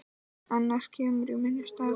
Annar kemur í minn stað.